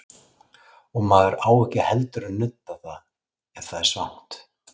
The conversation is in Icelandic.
Og maður á ekki heldur að nudda það ef það er svangt.